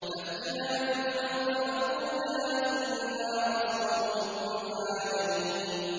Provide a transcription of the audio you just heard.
فَأْتِيَا فِرْعَوْنَ فَقُولَا إِنَّا رَسُولُ رَبِّ الْعَالَمِينَ